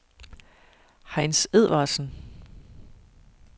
Heinz Edvardsen